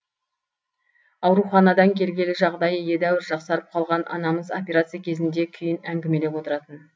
ауруханадан келгелі жағдайы едәуір жақсарып қалған анамыз операция кезіндегі күйін әңгімелеп отыратын